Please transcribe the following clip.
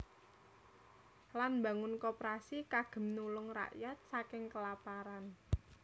Lan mbangun Koperasi kagem nulung rakyat saking kelaparan